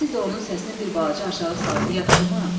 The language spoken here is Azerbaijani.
Siz də onun səsini bir balaca aşağı salın, yaxşımı?